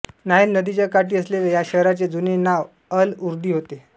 Nile नदीच्या काठी असलेल्या या शहराचे जुने नाव अल उर्दी होते